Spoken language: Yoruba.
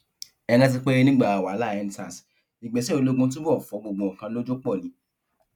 ẹ rántí pé nígbà wàhálà endsars ìgbésẹ ológun túbọ fọ gbogbo nǹkan lójú pọ ni